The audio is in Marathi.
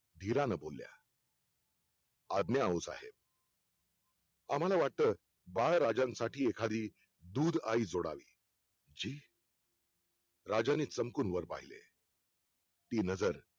धीरानं बोलल्या आज्ञा औ साहेब आम्हाला वाटतं बाळ राजांसाठी एखादी दूध आई जोडावी राजाने सणकून वर पहिले ती नजर